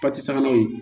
Pasi sabanan ye